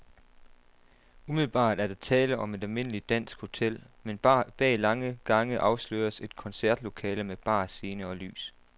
Umiddelbart er der tale om et almindeligt dansk hotel, men bag lange gange afsløres et koncertlokale med bar, scene og lys.